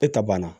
E ta banna